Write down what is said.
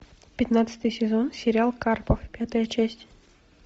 пятнадцатый сезон сериал карпов пятая часть